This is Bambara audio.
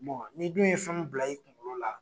n'i dun ye fɛn mun bila i kunkolo la